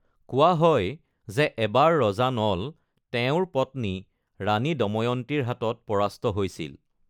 কোৱা হয় যে এবাৰ ৰজা নল তেওঁৰ পত্নী ৰাণী দময়ন্তীৰ হাতত পৰাস্ত হৈছিল।